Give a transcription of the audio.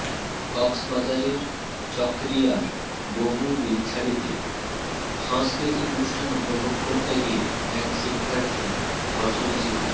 কক্সবাজারের চকরিয়ার বমু বিলছড়িতে সাংস্কৃতিক অনুষ্ঠান উপভোগ করতে গিয়ে এক শিক্ষার্থী ধর্ষণের শিকার